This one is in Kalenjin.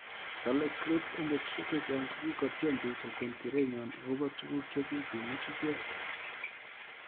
Kale kripp eng petusiek chechang kikotyem pik kokon kerenywan akopoo tuguk chekikemuut icheek